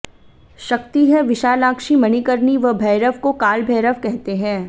शक्ति है विशालाक्षी मणिकर्णी व भैरव को काल भैरव कहते हैं